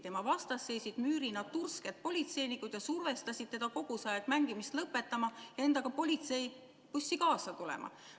Tema vastas seisid müürina tursked politseinikud, kes kogu aeg survestasid teda mängimist lõpetama ja endaga politseibussi kaasa tulema.